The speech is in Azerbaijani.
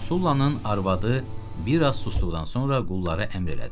Sullanın arvadı bir az susduqdan sonra qullara əmr elədi: